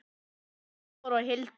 Bergþór og Hildur.